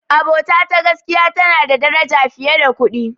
Abota ta gaskiya tana da daraja fiye da kuɗi.